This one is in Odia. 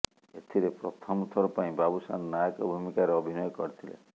ଏଥିରେ ପ୍ରଥମଥର ପାଇଁ ବାବୁସାନ୍ ନାୟକ ଭୂମିକାରେ ଅଭିନୟ କରିଥିଲେ